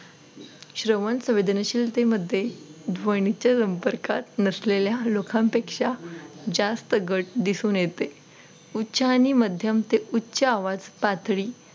श्रवण संवेदनशील ते मध्ये ध्वनीच्या संपर्कात नसलेल्या लोकांपेक्षा जास्त घट दिसून येते. उच्च आणि मध्यम ते उच्च आवाज पातळी